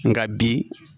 Nka bi